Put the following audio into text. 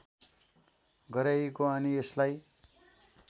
गराइएको अनि यसलाई